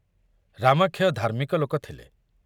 ରାମାକ୍ଷୟ ଧାର୍ମିକ ଲୋକ ଥିଲେ।